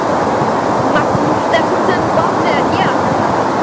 Magnús Stephensen bað mig gera þetta.